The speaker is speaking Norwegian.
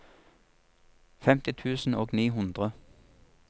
femti tusen og ni hundre